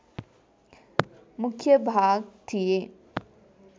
मुख्य भाग थिए